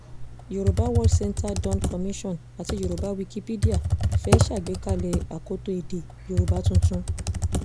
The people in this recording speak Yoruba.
yorùbá world center dawn commission àti yorùbá wikipedia fẹ́ẹ́ ṣàgbékalẹ̀ akoto èdè yorùbá tuntun